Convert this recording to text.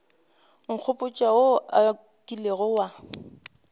nkgopotša wo o kilego wa